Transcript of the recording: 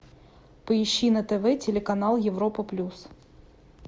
поищи на тв телеканал европа плюс